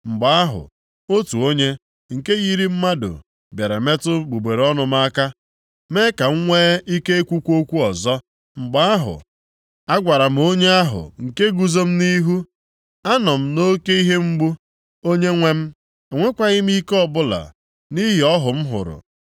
Mgbe ahụ, otu onye, nke yiri mmadụ, bịara metụ egbugbere ọnụ m aka, mee ka m nwee ike ikwukwa okwu ọzọ. Mgbe ahụ agwara m onye ahụ nke guzo m nʼihu, “Anọ m nʼoke ihe mgbu; Onyenwe m, enwekwaghị m ike ọbụla, nʼihi ọhụ m hụrụ.